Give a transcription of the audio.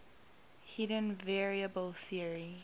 hidden variable theory